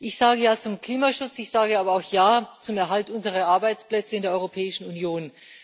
Ich sage Ja zum Klimaschutz, ich sage aber auch Ja zum Erhalt unserer Arbeitsplätze in der Europäischen Union.